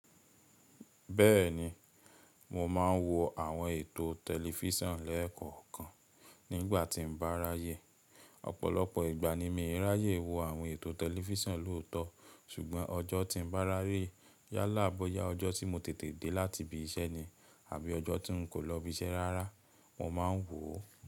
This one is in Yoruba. Bẹ́ẹ̀ni, mo máa ń wo àwọn ètò tẹlifísàn lẹ́ẹ̀kọ̀kan nígbà tí mo bá ráyè. Ọ̀pọ̀lọpọ̀ ìgbà ni mi ò ráyè wo àwọn ètò tẹlifísàn lóòtọ́, ṣùgbọ́n ọjọ́ tí mo bá ráyè, yálà bóyá ọjọ́ tí mo tètè dé láti ibi iṣẹ́ ni àbí ọjọ́ tí n kò lọ ibi iṣẹ́ rárá, mo máa ń wò ó.